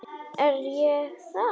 Er ég það?